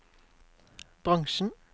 bransjen